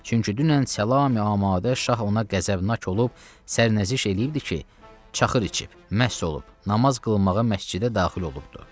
Çünki dünən Salam Əmadə şah ona qəzəbnak olub, sərnəziş eləyibdir ki, çaxır içib, məst olub, namaz qılınmağa məscidə daxil olubdur.